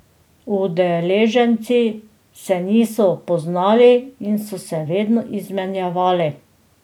Udeleženci se niso poznali, in so se vedno izmenjavali.